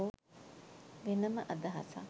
වෙනම අදහසක්.